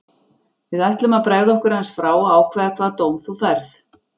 Við ætlum að bregða okkur aðeins frá og ákveða hvaða dóm þú færð.